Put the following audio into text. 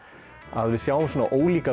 að við sjáum ólíka